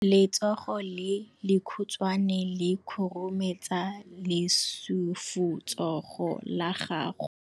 Letsogo le lekhutshwane le khurumetsa lesufutsogo la gago.